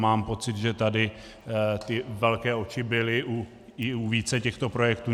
Mám pocit, že tady ty velké oči byly i u více těchto projektů.